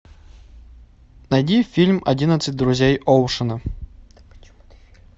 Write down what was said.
найди фильм одиннадцать друзей оушена